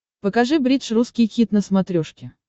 покажи бридж русский хит на смотрешке